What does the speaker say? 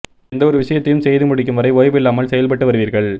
எந்த ஒரு விஷயத்தையும் செய்து முடிக்கும் வரை ஓய்வில்லாமல் செயல்பட்டு வருவீர்கள்